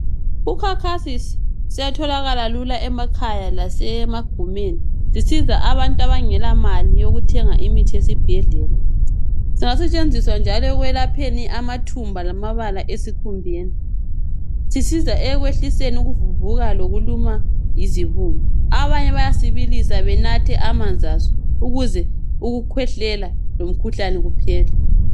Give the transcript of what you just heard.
UCocasis siyatholakala lula emakhaya lasemagumeni . Sisiza abantu abangela mali yokuthenga imithi esibhedlela. Singasetshenziswa njalo ekwelapheni amathumba lamabala esikhumbeni. Sisiza ekwehliseni ukuvuvuka lokuluma yizibungu. Abanye bayasibilisa benathe amanzi aso ukuze ukukhwehlela lomkhuhlane kuphele.